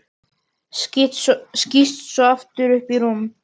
Skýst svo aftur upp í rúm.